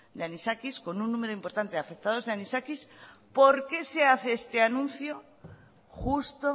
de anisakis con un número importante afectados de anisakis por qué se hace este anuncio justo